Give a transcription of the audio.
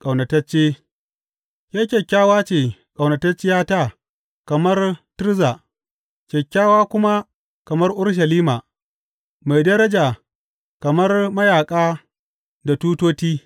Ƙaunatacce Ke kyakkyawa ce, ƙaunatacciyata, kamar Tirza, kyakkyawa kuma kamar Urushalima, mai daraja kamar mayaƙa da tutoti.